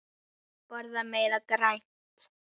Borða meira grænt.